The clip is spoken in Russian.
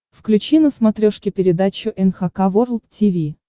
включи на смотрешке передачу эн эйч кей волд ти ви